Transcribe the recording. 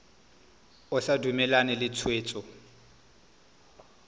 o sa dumalane le tshwetso